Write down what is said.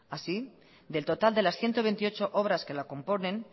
así del total de las ciento veintiocho obras que la componen